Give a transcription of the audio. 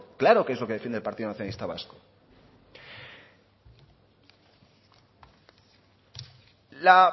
claro que es lo que defiende el partido nacionalista vasco